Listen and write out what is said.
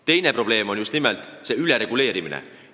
Teine probleem on just nimelt ülereguleerimine.